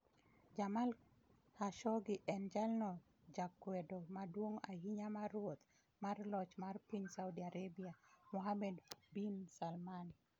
Jamal Khashoggi en jalno jakwedo maduong' ahinya mar ruoth mar loch mar piny Saudi Arabia, Mohammed bin Salman.